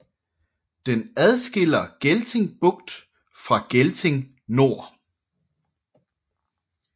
Den adskiller Gelting Bugt fra Gelting Nor